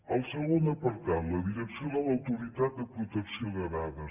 el segon apartat la direcció de l’autoritat de protecció de dades